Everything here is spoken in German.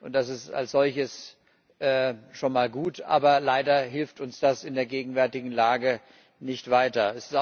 Das ist als solches schon mal gut, aber leider hilft uns das in der gegenwärtigen Lage nicht weiter.